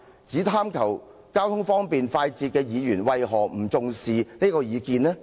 只貪求交通方便快捷的議員為何不重視這意見呢？